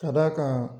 Ka d'a kan